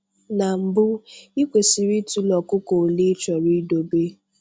Na mbu, ị kwesiri ịtụle ọkụkọ olee ịchọrọ idobe.